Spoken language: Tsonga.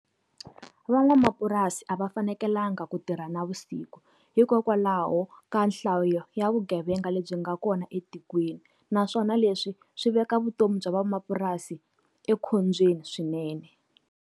Van'wamapurasi a va fanekelanga ku tirha navusik hikokwalaho ka nhlayo ya vugevenga lebyi nga kona etikweni. Naswona leswi swi veka vutomi bya van'wamapurasi ekhombyeni swinene.